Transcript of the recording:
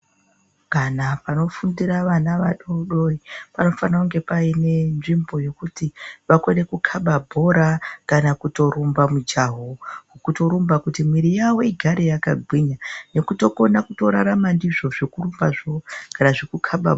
Kana panofundira vana vadodori panofane kunge payinenzvimbo yekuti vakone kukhaba bhora kana kutorumba mujawu. Kutorumba kuti mwiri yavo igare yakagwinya nekutokona kutorarama ngeyizvozvo zvekurumbazo kana kuti kukhaba bhora.